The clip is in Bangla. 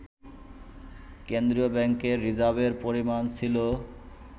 কেন্দ্রীয় ব্যাংকের রিজার্ভের পরিমাণ ছিল